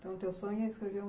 Então o teu sonho é escrever um